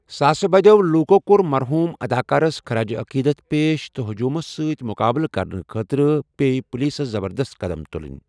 ساسہِ بٔدیو لوکو کوٚر مَرحوٗم اداکارس خراج عقیدت پیش تہٕ ہجٔوٗمس سۭتۍ مُقابلہٕ کَرنہِ خٲطرٕ پے پولیسس زبردست قدم تُلٕن۔